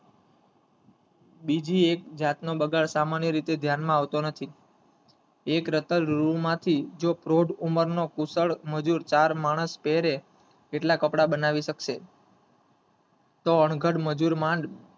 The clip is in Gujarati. બીજી એક જાત નો બગાડ સામાન્ય રીતે ધ્યાન માં આવતો નથી એક રતર રૂ માંથી જો પ્રોઢ ઉંમરનો કુશળ મજુર ચાર માણસ પહેરે એટલા કપડા બનાવી શકશે તો અનગઢ મજુર માંડ,